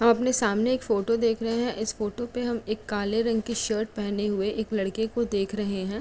हम अपने सामने एक फोटो देख रहे हैं। इस फोटो पे हम एक काले रंग की शर्ट पहने हुए एक लड़के को देख रहे हैं।